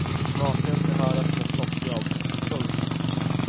Maken ska höras om ett toppjobb. punkt